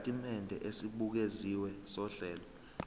isitatimende esibukeziwe sohlelo